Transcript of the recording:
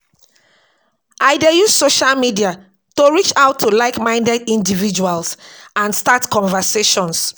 I dey use social media to reach out to like-minded individuals and start conversations.